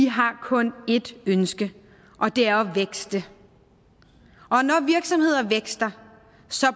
har kun ét ønske og det er at vækste og når virksomheder vækster